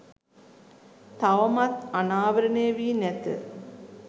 තවමත් අනාවරණය වී නැත.